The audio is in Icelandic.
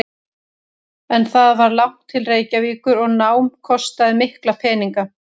En það var langt til Reykjavíkur og nám kostaði mikla peninga.